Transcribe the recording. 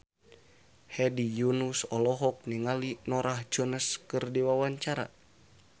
Hedi Yunus olohok ningali Norah Jones keur diwawancara